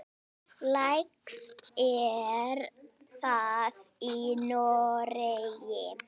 Lægst er það í Noregi.